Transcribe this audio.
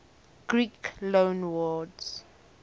greek loanwords